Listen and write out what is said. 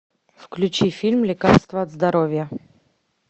включи фильм лекарство от здоровья